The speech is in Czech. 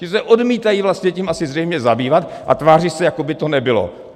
Ti se odmítají vlastně tím asi zřejmě zabývat a tváří se, jako by to nebylo.